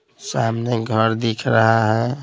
सामने घर दिख रहा है।